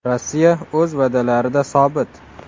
Rossiya o‘z va’dalarida sobit.